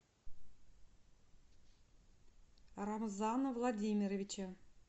рамзана владимировича